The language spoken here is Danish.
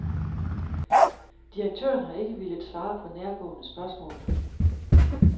Direktøren har ikke villet svare på nærgående spørgsmål.